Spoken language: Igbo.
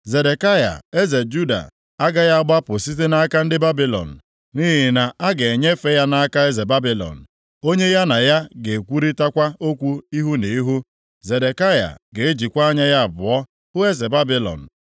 Zedekaya eze Juda agaghị agbapụ site nʼaka ndị Babilọn, nʼihi na a ga-enyefe ya nʼaka eze Babilọn, onye ya na ya ga-ekwurịtakwa okwu ihu na ihu. Zedekaya ga-ejikwa anya ya abụọ hụ eze Babilọn,